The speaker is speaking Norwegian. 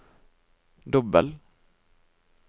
dobbel